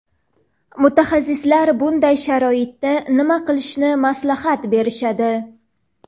Mutaxassislar bunday sharoitda nima qilishni maslahat berishadi?.